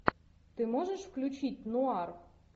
ты можешь включить нуар